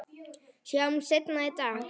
Sjáumst seinna í dag